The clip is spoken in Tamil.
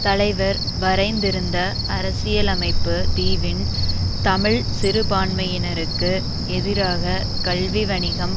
தலைவர் வரைந்திருந்த அரசியலமைப்பு தீவின் தமிழ் சிறுபான்மையினருக்கு எதிராக கல்வி வணிகம்